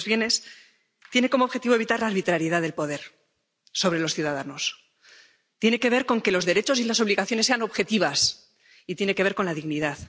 Bueno, pues tiene como objetivo evitar la arbitrariedad del poder sobre los ciudadanos, tiene que ver con que los derechos y las obligaciones sean objetivos, y tiene que ver con la dignidad.